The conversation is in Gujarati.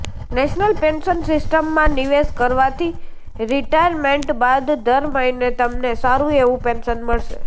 નેશનલ પેન્શન સિસ્ટમ માં નિવેશ કરવાથી રિટાયરમેન્ટ બાદ દર મહિને તમને સારું એવું પેન્શન મળશે